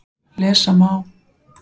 Lesa má